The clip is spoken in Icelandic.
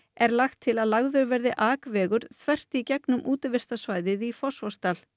er lagt til að lagður verði akvegur þvert í gegnum útivistarsvæðið í Fossvogsdal